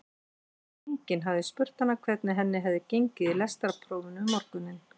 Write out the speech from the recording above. Enginn hafði spurt hana hvernig henni hefði gengið í lestrarprófinu um morguninn.